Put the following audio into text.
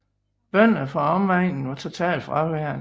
Bønderne fra omegnen var totalt fraværende